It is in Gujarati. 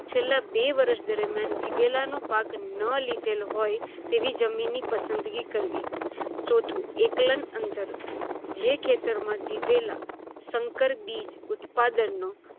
છેલ્લા બે વર્ષ દરમિયાન દિવેલાનો પાક ન લિધેલ હોય તેવી જમીન ની પસંસગી કરવી. ચોથું એકલન અંતર - જે ખેતરમાં દિવેલા સંકર બીજ ઉત્પાદનનો